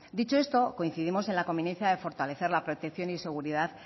dicho esto coincidimos en la conveniencia de fortalecer la protección y seguridad